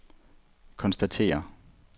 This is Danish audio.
konstaterer